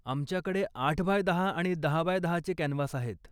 आमच्याकडे आठ बाय दहा आणि दहा बाय दहाचे कॅनव्हास आहेत.